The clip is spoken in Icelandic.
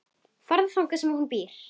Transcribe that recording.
Farðu þangað sem hún býr.